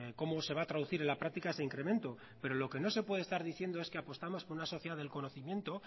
cómo se va a traducir en la práctica ese incremento pero lo que no se puede estar diciendo es que apostamos por una sociedad del conocimiento